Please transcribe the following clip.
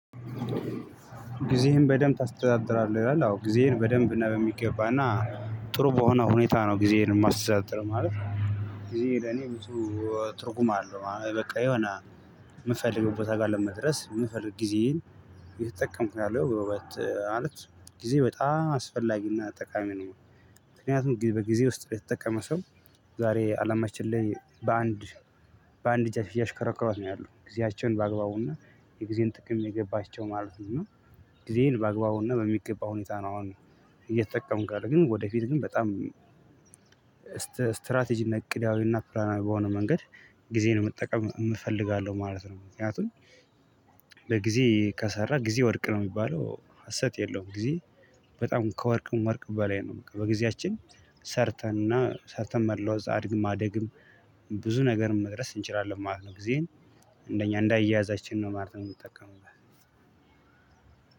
ጊዜህን በደንብ ታስተዳድራለህ ይላል? አዎ ጊዜዬን በደንብ እና በሚገባ እና ጥሩ በሆነ ሁኔታ ነው ጊዜዬን እማስተዳደር ማለት። ጊዜ እኔ ትርጉም አለው በቃ የሆነ እምፈልገው ቦታ ጋር ለመድረስ ብፈልግ ጊዜዬን እየተጠቀምኩኝ ነው ያለው በይበልጥ ማለት ጊዜ በጣም አስፈላጊና ጠቃሚ ነው። ምክንያቱም በጊዜ ውስጥ የተጠቀመ ሰው ዛሬ አለማችን ላይ በአንድ እጃቸው እያሽከረከሯት ነው ያለው ጊዜያቸውን በአግባቡና የጊዜን ጥቅም የገባቸው ማለት ነው። ጊዜዬን በአግባቡና በሚገባ ሁኔታ ነው አሁን እየተጠቀምኩ ያለው ግን ወደፊት ግን በጣም ስትራቴጂ እና እቅዳዊ እና ፕላናዊ በሆነ መንገድ ጊዜዬን መጠቀም እፈልጋለው ማለት ነው። ምክንያቱም ለጊዜ ከሰራ ጊዜ ወርቅ ነው እሚባለው ሀሰት የለውም። ጊዜ በጣም ከወርቅም ወርቅ በላይ ነው። በቃ በጊዜያችን ሰርተን እና ሰርተን መለወጥም ማደግም ብዙ ነገርም መድረስ እንችላለን ማለት ነው። ጊዜን እንደኛ እንዳየያዛችን ነው ማለትም ነው። እምንጠቀመው